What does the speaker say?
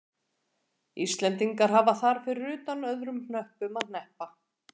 Íslendingar hafa þar fyrir utan öðrum hnöppum að hneppa.